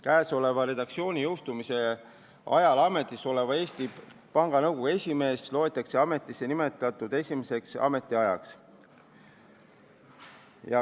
Käesoleva redaktsiooni jõustumise ajal ametis olev Eesti Panga Nõukogu esimees loetakse ametisse nimetatuks esimeseks ametiajaks.